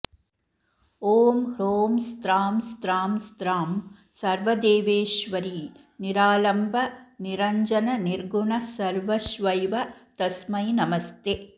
ॐ ह्रों स्त्रां स्त्रां स्त्रां सर्वदेवेश्वरी निरालम्बनिरञ्जननिर्गुणसर्वश्वैव तस्मै नमस्ते